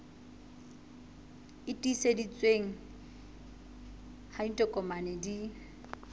e tiiseditsweng ha ditokomane di